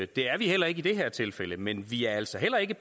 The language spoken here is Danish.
det er vi heller ikke i det her tilfælde men vi er altså heller ikke